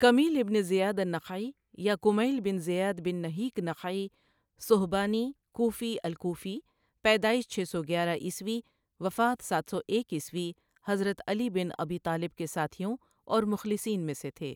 Kumail ibn Ziyad النخعی یا Kumayl bin Ziyad بن نَہِیک نَخَعی صُہبانی کوفی الکوفی پیدائش چھ سو گیارہ عیسوی وفات سات سو ایک عیسوی حضرت علی بن ابی طالب کے ساتھیوں اور مخلصین میں سے تھے۔